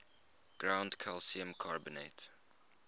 ground calcium carbonate